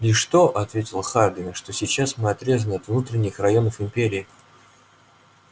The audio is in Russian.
лишь то ответил хардин что сейчас мы отрезаны от внутренних районов империи